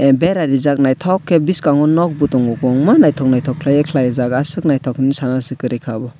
bera reejak nythok ke bskango non bo tongo kbungma nythok nythok ke kalaijaak asuk nythok hemai sana si kwri ka.